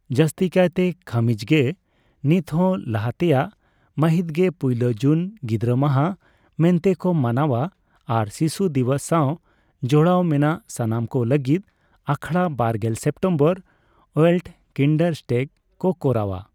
ᱡᱟᱥᱛᱤᱠᱟᱭ ᱠᱷᱟᱹᱢᱤᱡ ᱜᱮ ᱱᱤᱛᱦᱚᱸ ᱞᱟᱦᱟᱛᱮᱭᱟᱜ ᱢᱟᱹᱦᱤᱛ ᱜᱮ ᱯᱩᱭᱞᱟᱹ ᱡᱩᱱ ᱜᱤᱫᱽᱨᱟᱹ ᱢᱟᱦᱟ ᱢᱮᱱᱛᱮᱠᱚ ᱢᱟᱱᱟᱣᱟ ᱟᱨ ᱥᱤᱥᱩ ᱫᱤᱵᱚᱥ ᱥᱟᱣ ᱡᱚᱲᱟᱣ ᱢᱮᱱᱟᱜ ᱥᱟᱱᱟᱢ ᱠᱚ ᱞᱟᱹᱜᱤᱫ ᱟᱠᱷᱚᱲᱟ ᱵᱟᱨᱜᱮᱞ ᱥᱮᱹᱯᱴᱮᱹᱢᱵᱚᱨ (ᱳᱭᱮᱹᱞᱴᱠᱤᱱᱰᱟᱨᱴᱮᱹᱜ) ᱠᱚ ᱠᱚᱨᱟᱣᱟ ᱾